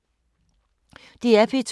DR P2